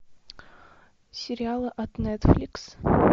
сериалы от нетфликс